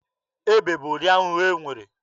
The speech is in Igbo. Ebe bụ ụdị ahụhụ e nwere.